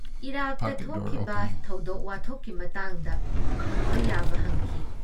ꯏꯔꯥꯛꯇ ꯊꯣꯛꯂꯤꯕ ꯊꯧꯗꯣꯛ-ꯋꯥꯊꯣꯛꯀꯤ ꯃꯇꯥꯡꯗ ꯍꯪꯕ ꯌꯥꯕ ꯍꯪꯈꯤ ꯫